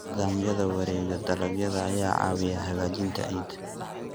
Nidaamyada wareegga dalagga ayaa caawiya hagaajinta ciidda.